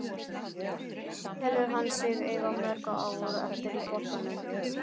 Hvað telur hann sig eiga mörg ár eftir í boltanum?